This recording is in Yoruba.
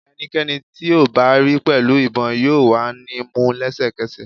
Ẹnikẹni ti o ba ri pẹlu ibon yoo wa ni mu lẹsẹkẹsẹ